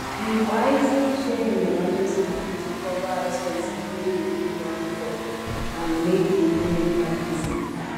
he wisely share him emergency money to cover expenses wey he no plan forand make he no enter gbese